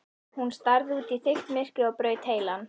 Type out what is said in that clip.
Hún starði út í þykkt myrkrið og braut heilann.